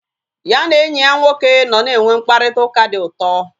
Ya na enyi ya nwoke nọ na enwe mkparịta ụka dị ụtọ